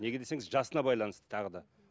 неге десеңіз жасына байланысты тағы да